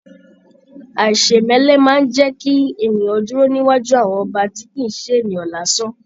Aisemẹlẹ máa n jẹ kí ènìyàn dúró níwájú àwọn ọba tí kìí ṣe ènìyàn lásán.